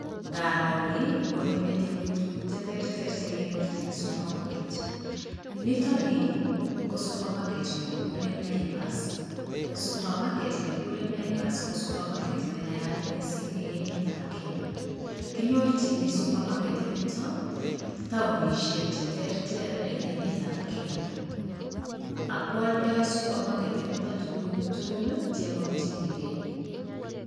Ngaro ni konyo metinyun tuguk cheterter chekenyorchini supermarket nitok ni ko supermarket nekikure Naivas .[Supermarket nekikure Naivas ko supermarket ne naat mising eng emetab Kenya, kinyorchini supermarket nito taonishek che terter neg emetab Kenya ak kwaldai supermarket tuguuk tugul chemakchinikei.